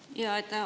Aitäh!